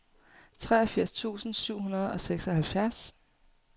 treogfirs tusind syv hundrede og seksoghalvfjerds